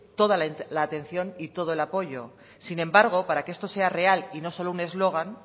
toda la atención y todo el apoyo sin embargo para que esto sea real y no solo un eslogan